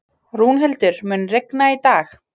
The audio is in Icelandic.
Rúnhildur, mun rigna í dag?